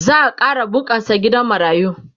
za'a ƙara bunƙasa gidan marayu